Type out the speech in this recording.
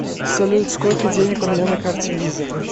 салют сколько денег у меня на карте виза